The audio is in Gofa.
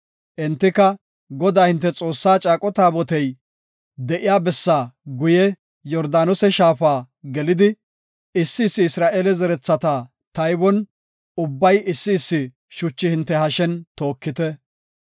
Entako, “Godaa hinte Xoossaa caaqo taabotey de7iya bessa guye Yordaanose shaafa gelidi, issi issi Isra7eele zerethata taybon ubbay issi issi shuchi hinte hashen tookite.